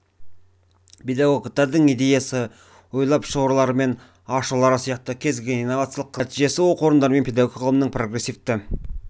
педагогтердің идеясы ойлап шығарулары мен ашулары сияқты кез келген инновациялық қызметінің нәтижесі оқу орындары мен педагогика ғылымының прогрессивті